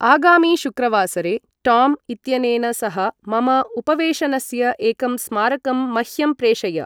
आगामिशुक्रवासरे Tom इत्यनेन सह मम उपवेशनस्य एकं स्मारकं मह्यं प्रेषय ।